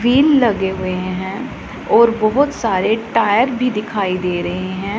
Wheel लगे हुए हैं और बहुत सारे टायर भी दिखाई दे रहे हैं।